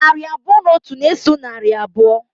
Narị abụọ na otu na-eso narị abụọ.